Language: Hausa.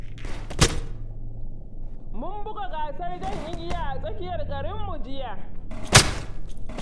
Mun buga gasar jan igiya a tsakiyar garinmu jiya.